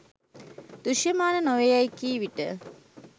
දෘශ්‍යමාන නො වේ යෑයි කී විට